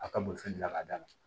A ka bolifɛn dilan k'a d'a ma